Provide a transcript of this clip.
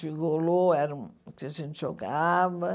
Gigolô era o que a gente jogava.